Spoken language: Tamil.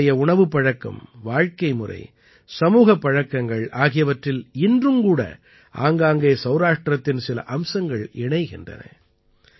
அவர்களுடைய உணவுப் பழக்கம் வாழ்க்கை முறை சமூகப் பழக்கங்கள் ஆகியவற்றில் இன்றும் கூட ஆங்காங்கே சௌராஷ்டிரத்தின் சில அம்சங்கள் இணைகின்றன